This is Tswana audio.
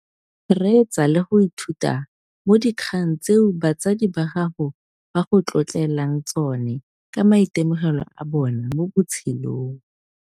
Reetsa le go ithuta mo dikgang tseo batsadi ba gago ba go tlotlelang tsone ka maitemogelo a bona mo botshelong.